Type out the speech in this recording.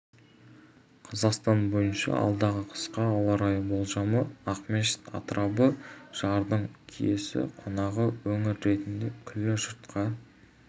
қазақстан бойынша алдағы қысқа ауа райы болжамы ақмешіт атырабы жырдың киесі қонған өңір ретінде күллі жұртқа